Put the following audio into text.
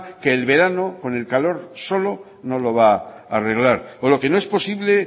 que en el verano con el calor solo no lo va a arreglar pero lo que no es posible